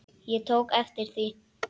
Ég tók eftir því.